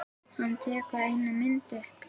Hann tekur eina myndina upp.